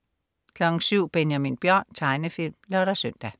07.00 Benjamin Bjørn. Tegnefilm (lør-søn)